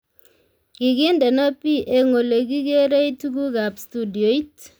Kigindeno P eng olegigeerei tugukab studioit